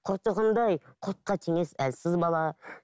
құртығындай құртқа теңес әлсіз бала